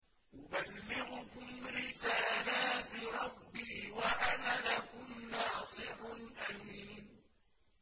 أُبَلِّغُكُمْ رِسَالَاتِ رَبِّي وَأَنَا لَكُمْ نَاصِحٌ أَمِينٌ